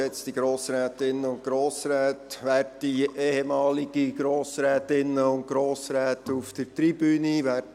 Ich gebe das Wort Regierungsrat Philippe Müller.